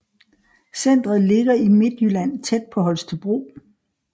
Centret ligger i Midtjylland tæt på Holstebro